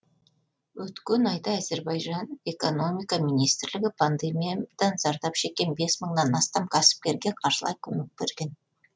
өткен айда әзербайжан экономика министрлігі пандемиядан зардап шеккен бес мыңнан астам кәсіпкерге қаржылай көмек берген